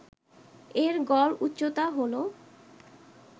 এর গড় উচ্চতা হল